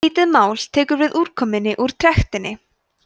lítið mál tekur við úrkomunni úr trektinni